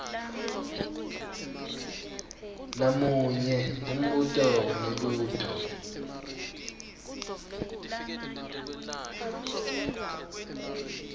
namunye umbuto wemibuto